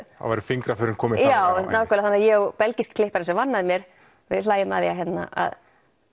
væru fingraförin komin þangað já þannig ég og belgískur klippari sem vann með mér við hlæjum að því að